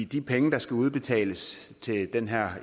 de penge der skal udbetales til den her